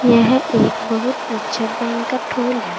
यह एक बहुत अच्छा बैंक्वट हॉल है।